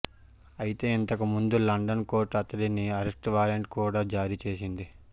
అయితే ఇంతకుముందు London court అతడికి అరెస్ట్ వారెంట్ కూడా జారీ చేసింది